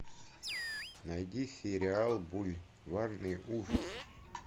найди сериал бульварные ужасы